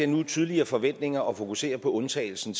nu er tydelige forventninger at fokusere på undtagelsen